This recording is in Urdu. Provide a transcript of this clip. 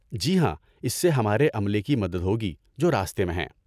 جی ہاں، اس سے ہمارے عملے کی مدد ہو گی جو راستے میں ہیں۔